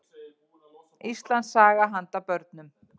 Íslandssaga handa börnum.